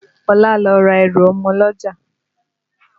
Ọlá lọ ra ẹrù ọmọ lọ́jà